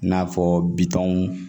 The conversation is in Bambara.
I n'a fɔ bitɔn